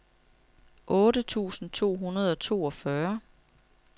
otte tusind to hundrede og toogfyrre